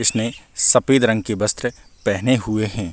इसने सफ़ेद रंग के वस्त्र पहने हुए है।